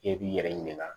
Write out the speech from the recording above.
I b'i yɛrɛ ɲininka